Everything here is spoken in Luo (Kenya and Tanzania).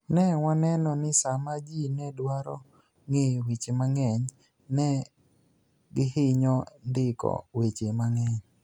"ni e wani eno nii Saama ji ni e dwaro nig'eyo weche manig'eniy, ni e gihiniyo nidiko weche manig'eniy.